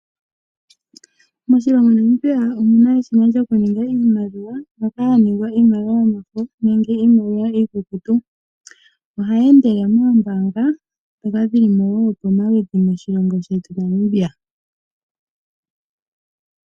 Moshilongo Namibia omu na eshina lyokuninga iimaliwa moka hamu ningwa iimaliwa yomafo noshowo iinaliwa iikukutu. Ohayi endele moombanga ndhoka dhi li mo wo pomaludhi moshilongo shetu Namibia.